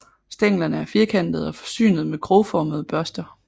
Stænglerne er firkantede og forsynet med krogformede børster